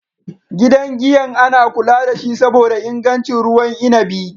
Gidan giyan ana kula dashi saboda ingancin ruwan inabi.